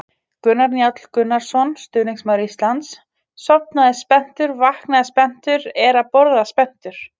Gunnar Njáll Gunnarsson, stuðningsmaður Íslands: Sofnaði spenntur, vaknaði spenntur, er að borða spenntur!